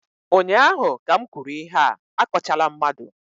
ụnyaahụ ka m kwuru ihe a, akọchala mmadụ!